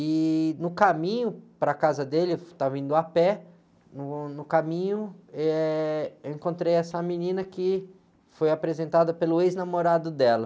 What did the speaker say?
E no caminho para a casa dele, eu estava indo a pé, no, no caminho, eh, eu encontrei essa menina que foi apresentada pelo ex-namorado dela.